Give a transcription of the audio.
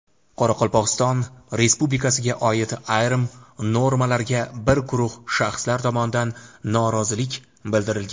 Qoraqalpog‘iston Respublikasiga oid ayrim normalarga bir guruh shaxslar tomonidan norozilik bildirilgan.